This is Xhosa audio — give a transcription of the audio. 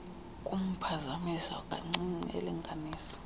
kumphazamisa nakancinci elinganisa